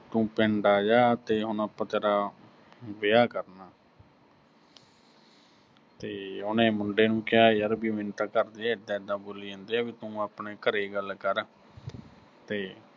ਤੂੰ ਪਿੰਡ ਆਜਾ ਤੇ ਹੁਣ ਆਪਾਂ ਤੇਰਾ ਵਿਆਹ ਕਰਨਾ ਤੇ ਉਹਨੇ ਮੁੰਡੇ ਨੂੰ ਕਿਹਾ ਯਰ ਵੀ ਮੈਨੂੰ ਤਾਂ ਘਰ ਦੇ ਐਦਾਂ-ਐਦਾਂ ਬੋਲੀ ਜਾਂਦੇ ਆ ਵੀ ਤੂੰ ਆਪਣੇ ਘਰੇ ਗੱਲ ਕਰ ਕਰ, ਤੇ